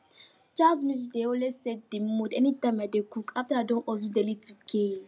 jazz music dey always set the mood anytime i dey cook after i don hustle daily 2k